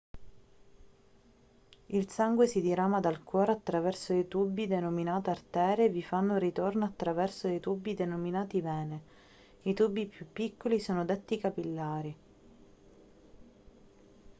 il sangue si dirama dal cuore attraverso dei tubi denominati arterie e vi fa ritorno attraverso dei tubi denominati vene i tubi più piccoli sono detti capillari